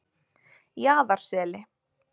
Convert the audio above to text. Jaðarseli